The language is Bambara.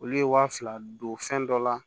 Olu ye wa fila don fɛn dɔ la